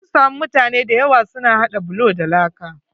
Mun samu mutane da yawa su na haɗa bulo da laa.